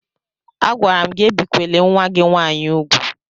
Agwara m gị ebikwele nwa gị nwaanyị úgwù!